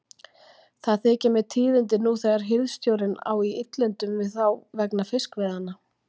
Það þykja mér tíðindi nú þegar hirðstjórinn á í illindum við þá vegna fiskveiðanna.